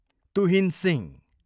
Tuhin Singh